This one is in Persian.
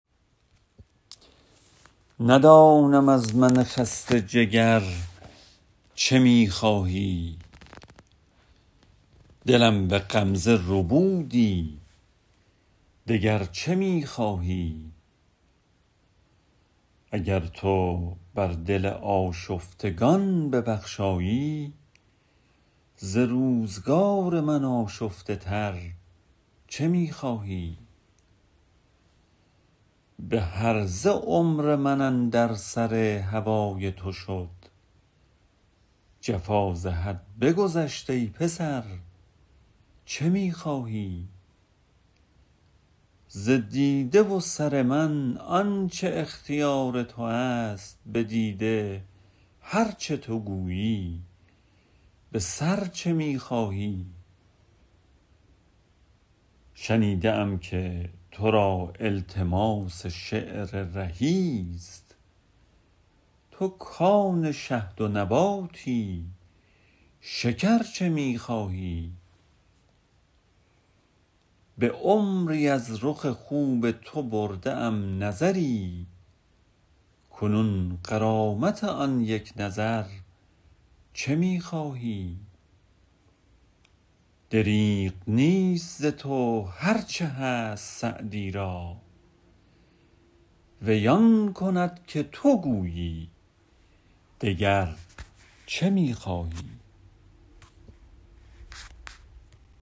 ندانم از من خسته جگر چه می خواهی دلم به غمزه ربودی دگر چه می خواهی اگر تو بر دل آشفتگان ببخشایی ز روزگار من آشفته تر چه می خواهی به هرزه عمر من اندر سر هوای تو شد جفا ز حد بگذشت ای پسر چه می خواهی ز دیده و سر من آن چه اختیار تو است به دیده هر چه تو گویی به سر چه می خواهی شنیده ام که تو را التماس شعر رهی ست تو کآن شهد و نباتی شکر چه می خواهی به عمری از رخ خوب تو برده ام نظری کنون غرامت آن یک نظر چه می خواهی دریغ نیست ز تو هر چه هست سعدی را وی آن کند که تو گویی دگر چه می خواهی